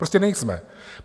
Prostě nejsme.